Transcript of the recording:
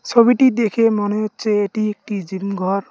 ছবিটি দেখে মনে হচ্ছে এটি একটি জিম ঘর।